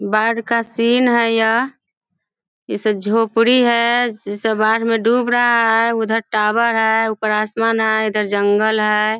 बहार का सीन है यह इसे झोपड़ी इसे बहार में डूब रहा है उधर टॉवर है ऊपर आसमान है इधर जंगल है